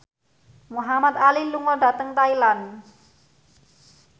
Muhamad Ali lunga dhateng Thailand